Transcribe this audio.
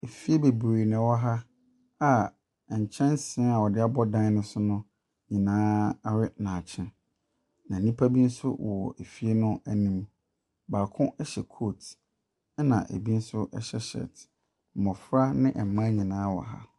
Fie bebree na wɔ ha nkɛnsee a wɔde abɔ ɛdan no so nyinaa awe na akyɛn. Na nnipa bi nso wɔ fie no anim. Baako hyɛ coat. Na ebi nso hyɛ shirt. Mmofra ne mmaa nyinaa wɔ ha.